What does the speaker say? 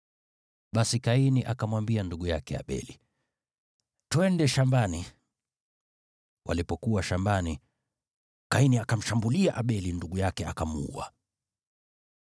Basi Kaini akamwambia ndugu yake Abeli, “Twende shambani.” Walipokuwa shambani, Kaini akamshambulia Abeli ndugu yake, akamuua.